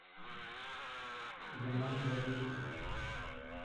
еманжелинску